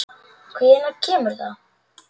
Og hvenær kemur það?